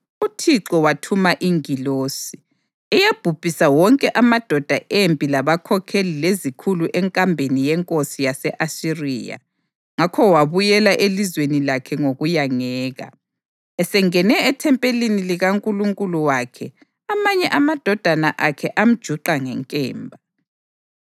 UThixo wathuma ingilosi, eyabhubhisa wonke amadoda empi labakhokheli lezikhulu enkambeni yenkosi yase-Asiriya. Ngakho wabuyela elizweni lakhe ngokuyangeka. Esengene ethempelini likankulunkulu wakhe, amanye amadodana akhe amjuqa ngenkemba.